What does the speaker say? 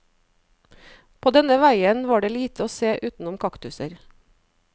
På denne veien var det lite å se utenom kaktuser.